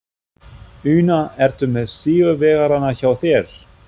Una, ertu með sigurvegarana hjá þér?